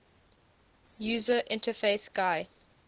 user interface gui